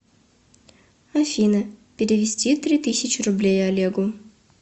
афина перевести три тысячи рублей олегу